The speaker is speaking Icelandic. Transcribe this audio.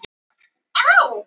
Þetta var bara nýr leikur